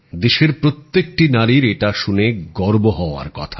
দেশের প্রত্যেকটি নারীর এটা শুনে গর্ব হবার কথা